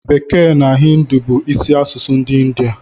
Bekee na Hịndụ bu isi asụsụ ndi india